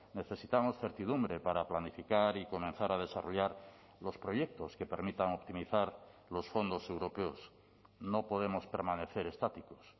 necesitamos certidumbre para planificar y comenzar a desarrollar los proyectos que permitan optimizar los fondos europeos no podemos permanecer estáticos